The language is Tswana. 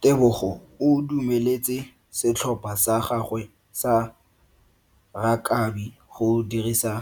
Tebogo o dumeletse setlhopha sa gagwe sa rakabi go dirisa